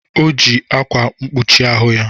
O ji akwa mkpuchi ahụ ya